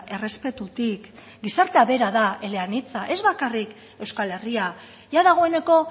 errespetutik gizartea bera da eleanitza ez bakarrik euskal herria jada dagoeneko